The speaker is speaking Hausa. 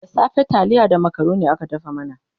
da safe taliya da macaroni aka dafa mana